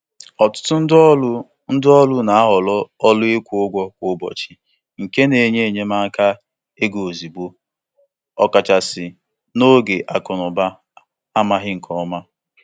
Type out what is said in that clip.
Ọtụtụ ndị ọkachamara na-ahọrọ ọrụ ịkwụ ụgwọ kwa ụbọchị maka mgbanwe iji jikwaa ego ha nke ọma.